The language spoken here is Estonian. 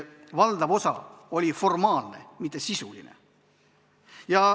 Valdav osa neist olid formaalsed, mitte sisulised.